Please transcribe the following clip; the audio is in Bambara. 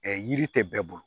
yiri tɛ bɛɛ bolo